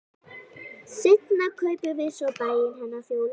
Seinna kaupum við svo bæinn hennar Fjólu frænku.